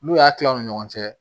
N'u y'a kila u ni ɲɔgɔn cɛ